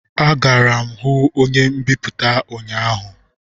Agara m hu onye mbipụta ụnyahụ